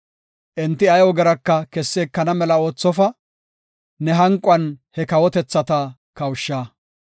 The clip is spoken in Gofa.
Enti ay ogeraka kessi ekana mela oothofa; ne hanquwan he kawotethata kawusha.